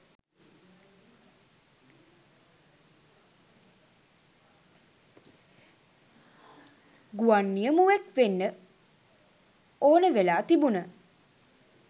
ගුවන් නියමුවෙක් වෙන්න ඕන වෙලා තිබුන.